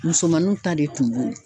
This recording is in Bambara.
Musomaninw ta de tun b'o ye!